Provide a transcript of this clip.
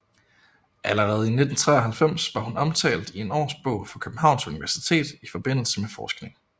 Allerede i 1993 var hun omtalt i en årbog fra Københavns Universitet i forbindelse med forskning